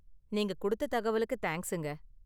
நீங்கள் கொடுத்த தகவலுக்கு தேங்க்ஸுங்க.